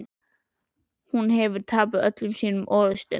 Hún hefur tapað öllum sínum orrustum.